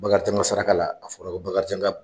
Bakarijan ka saraka la a fɔra ko Bakarijan ka